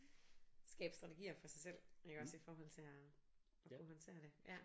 Skabe strategier for sig selv iggås i forhold til at at kunne håndtere det ja